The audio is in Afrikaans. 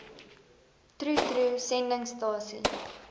troe troe sendingstasie